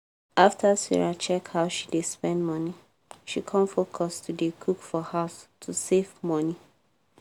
after sarah check how she dey spend money she con focus to dey cook for house to save money.